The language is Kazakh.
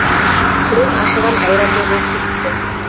түрің ашыған айрандай болып кетіпті